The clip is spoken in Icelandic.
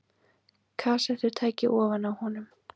Kassettutæki ofan á honum.